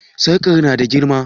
Sarƙan na da girma?